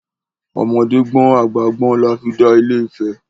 Ọmọdé gbọ́n àgbà gbọ́n la fi dá Ilé Ifẹ̀.